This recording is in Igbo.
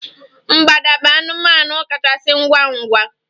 mgbada bụ anụmanụ kachasị ngwa ngwa